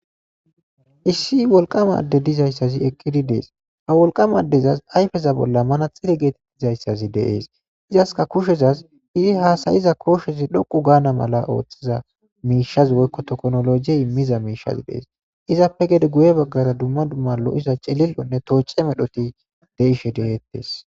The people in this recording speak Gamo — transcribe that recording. Issi woliqqa adezi eqidi deyesi.ha woliqama adeza ba ayifeni manaxire getetidayissa wothisi iyasika kushezasi i hasayidda koshezi dhoqu ganna mella mishazi woyiko tokonoljeyi izape gede guye bagara cililo medhoyi deyishe desi